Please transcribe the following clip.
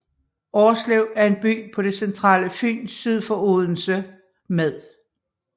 Årslev er en by på det centrale Fyn syd for Odense med